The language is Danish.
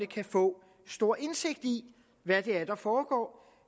kan få stor indsigt i hvad det er der foregår